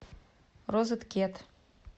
розеткед